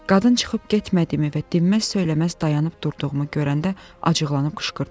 Qadın çıxıb getmədimi və dinməz söyləməz dayanıb durduğumu görəndə acıqlanıb qışqırdı.